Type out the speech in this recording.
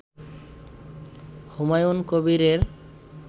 হুমায়ুন কবিরের